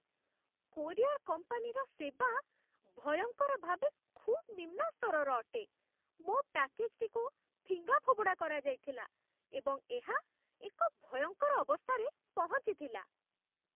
Courier କମ୍ପାନୀର ସେବା ଭୟଙ୍କର ଭାବେ ଖୁବ୍ ନିମ୍ନ ସ୍ତରର ଅଟେ ମୋ ପ୍ୟାକେଜ୍ଟିକୁ ଫିଙ୍ଗାଫୋପଡ଼ା କରାଯାଇଥିଲା, ଏବଂ ଏହା ଏକ ଭୟଙ୍କର ଅବସ୍ଥାରେ ପହଞ୍ଚିଥିଲା।